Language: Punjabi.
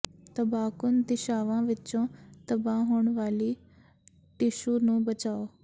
ਤਬਾਹਕੁੰਨ ਦਿਸ਼ਾਵਾਂ ਵਿੱਚੋਂ ਤਬਾਹ ਹੋਣ ਵਾਲੀ ਟਿਸ਼ੂ ਨੂੰ ਬਚਾਓ